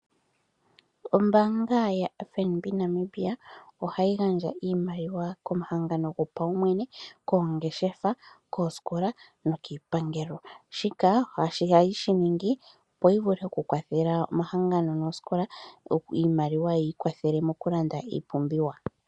Ombanga yaFNB Namibia ohayi gandja iimaliwa komahangano gopaumwene, koongeshefa, koosikola nokiipangelo shika ohayi shi ningi opo yi vule okukwathela omahangano noosikola okuyi pa iimaliwa ya wa pe ya lande iipumbiwa.